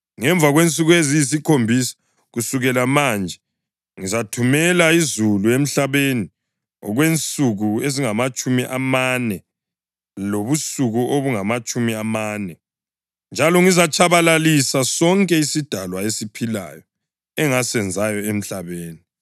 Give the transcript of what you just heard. Ngemva kwensuku eziyisikhombisa kusukela manje ngizathumela izulu emhlabeni okwensuku ezingamatshumi amane lobusuku obungamatshumi amane, njalo ngizatshabalalisa sonke isidalwa esiphilayo engasenzayo emhlabeni.”